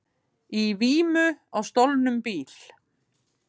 Í vímu á stolnum bíl